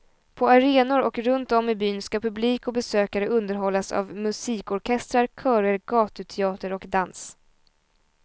På arenor och runt om i byn ska publik och besökare underhållas av musikorkestrar, körer, gatuteater och dans.